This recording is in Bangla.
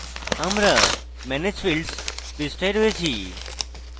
আমরা manage fields পৃষ্ঠায় এসেছি